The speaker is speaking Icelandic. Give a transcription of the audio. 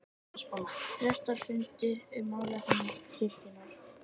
Prestar funda um málefni kirkjunnar